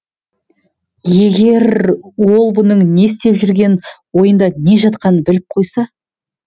егер ол бұның не істеп жүргенін ойында не жатқанын біліп қойса